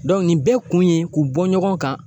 nin bɛɛ kun ye, k'u bɔ ɲɔgɔn kan